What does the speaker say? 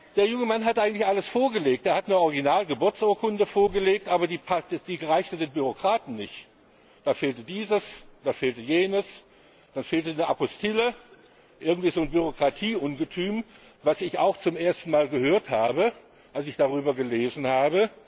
Der junge Mann hat eigentlich alles vorgelegt, er hat eine Original Geburtsurkunde vorgelegt, aber die reichte den Bürokraten nicht. Da fehlte dieses, da fehlte jenes, dann fehlte eine Apostille irgend so ein Bürokratieungetüm, von dem ich auch zum ersten Mal gehört habe, als ich darüber gelesen habe.